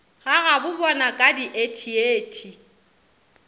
ga gabobona ka diethiethi go